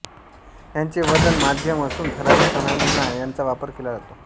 याचे वजन माध्यम असून ठराविक सणांना याचा वापर केला जातो